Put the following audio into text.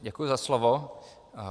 Děkuji za slovo.